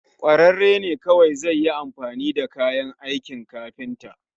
kwararre ne kawai zai yi amfani da kayan aikin kafinta